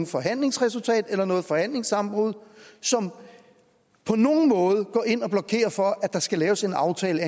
forhandlingsresultat eller noget forhandlingssammenbrud som på nogen måde går ind og blokerer for at der skal laves en aftale